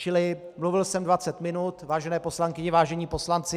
Čili mluvil jsem 20 minut, vážené poslankyně, vážení poslanci.